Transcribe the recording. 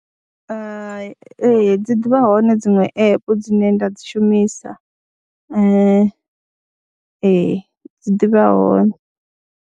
Hai, ee dzi ḓi vha hone dziṅwe app dzine nda dzi shumisa ee dzi ḓi vha hone.